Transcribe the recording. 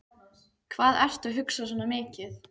Hvað ertu að hugsa svona mikið?